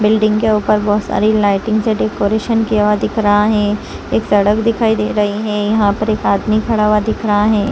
Building के ऊपर बहुत सारी लाइटिंग से डेकोरेशन किया हुआ दिख रहा है एक सड़क दिखाई दे रही है यहाँ पर एक आदमी खड़ा हुआ दिख रहा हैं।